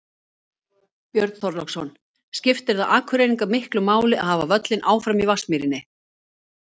Björn Þorláksson: Skiptir það Akureyringa miklu máli að hafa völlinn áfram í Vatnsmýrinni?